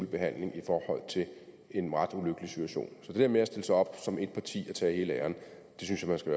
behandling i forhold til en ret ulykkelig situation så det der med at stille sig op som parti og tage hele æren synes jeg man skal